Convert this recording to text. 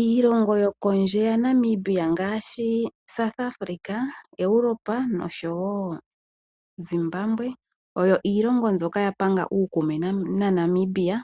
Iilongo yokondje yaNamibia ngaashi South Africa, iilongo yaEuropa noshowo Zimbambwe oyo iilongo mbyoka ya panga uukume naNamibia